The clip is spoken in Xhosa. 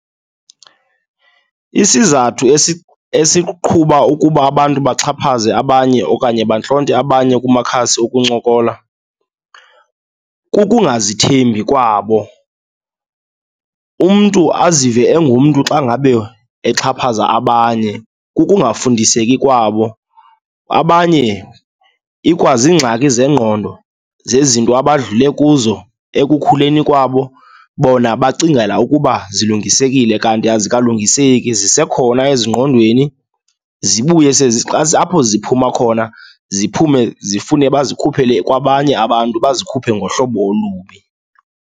Isizathu esiqhuba ukuba abantu baxhaphaze abanye okanye bantlonte abanye kumakhasi okuncokola kukungazithembi kwabo, umntu azive engumntu xa ngabe exhaphaza abanye. Kukungafundiseki kwabo, abanye ikwaziingxaki zengqondo zezinto abadlule kuzo ekukhuleni kwabo. Bona bacingela ukuba zilungesekile kanti azikalungiseki zisekhona ezingqondweni zibuye, apho ziphuma khona ziphume zifune bazikhuphele kwabanye abantu bazikhuphe ngohlobo olubi.